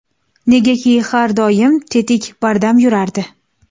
Negaki, har doim tetik, bardam yurardi.